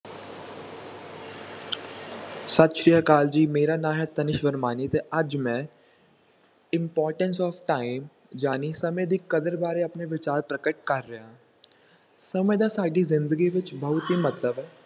ਸਤਿ ਸ੍ਰੀ ਅਕਾਲ ਜੀ, ਮੇਰਾ ਨਾ ਹੈ ਤਨਿਸ਼ ਵਰਮਾਨੀ ਤੇ ਅੱਜ ਮੈਂ importance of time ਜਾਣੀ ਸਮੇਂ ਦੀ ਕਦਰ ਬਾਰੇ ਆਪਣੇ ਵਿਚਾਰ ਪ੍ਰਗਟ ਕਰ ਰਿਹਾ ਹਾਂ ਸਮੇਂ ਦਾ ਸਾਡੀ ਜ਼ਿੰਦਗੀ ਵਿੱਚ ਬਹੁਤ ਹੀ ਮਹੱਤਵ ਹੈ।